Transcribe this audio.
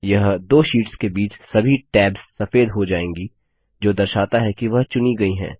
यह दो शीट्स के बीच सभी टैब्स सफ़ेद हो जाएंगी जो दर्शाता है कि वह चुनी गई हैं